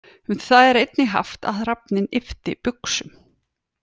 Um það er einnig haft að hrafninn yppti buxum.